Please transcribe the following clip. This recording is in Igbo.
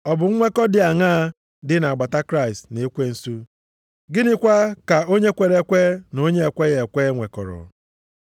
Ọ bụ nwekọ dị aṅaa dị na-agbata Kraịst na ekwensu? Gịnịkwa ka onye kwere ekwe na onye na-ekweghị ekwe nwekọrọ?